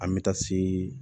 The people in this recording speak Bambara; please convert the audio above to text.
An bɛ taa se